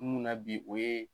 Mun na bi o ye